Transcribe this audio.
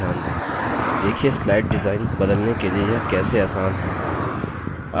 देखिए slide design बदलने के लिए यह कैसे आसान है